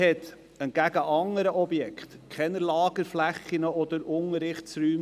Im Vergleich zu anderen Objekten verfügt sie über keine Lagerflächen oder Unterrichtsräume.